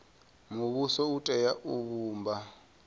muvhuso u tea u vhumba